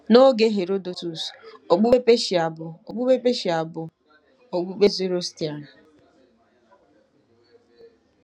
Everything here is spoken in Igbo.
N’oge Herodotus, okpukpe Peshia bụ okpukpe Peshia bụ okpukpe Zoroastrian.